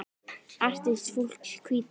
Artist fólks Hvíta.